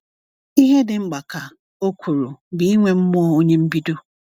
"Ihe dị mkpa," ka ọ kwuru, "bụ inwe mmụọ onye mbido."